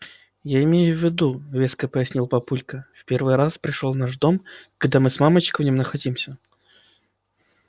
я имею в виду веско пояснил папулька в первый раз пришёл в наш дом когда и мы с мамочкой в нём находимся